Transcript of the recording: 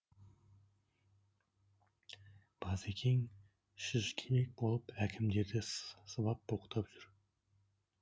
базекең шыжкебек болып әлдекімдерді сыбап боқтап жүр